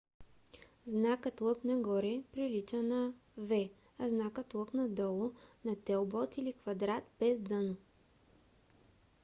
знакът лък нагоре прилича на v а знакът лък надолу на телбод или квадрат без дъно